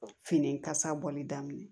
Fini kasa bɔli daminɛ